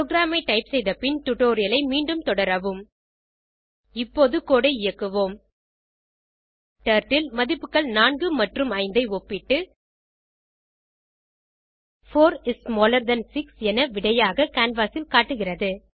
program ஐ type செய்த பின் டுடோரியலை மீண்டும் தொடரவும் இப்போது கோடு ஐ இயக்குவோம் டர்ட்டில் மதிப்புகள் 4 மற்றும் 5 ஐ ஒப்பிட்டு 4 இஸ் ஸ்மாலர் தன் சிக்ஸ் என விடையாக கேன்வாஸ் ல் காட்டுகிறது